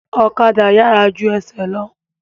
Ọ̀kadà yàrá ju ẹsẹ̀ lọ